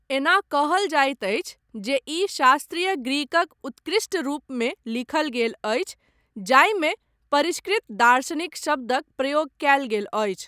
एना कहल जाइत अछि जे ई शास्त्रीय ग्रीकक उत्कृष्ट रूपमे लिखल गेल अछि जाहिमे परिष्कृत दार्शनिक शब्दक प्रयोग कयल गेल अछि।